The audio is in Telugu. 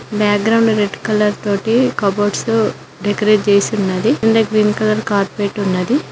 బ్యాక్ గ్రౌండ్ రెడ్ కలర్ తోటి కబోర్డ్సు డెకొరేట్ చేసి ఉన్నది కింద గ్రీన్ కలర్ కార్పెట్ ఉన్నది.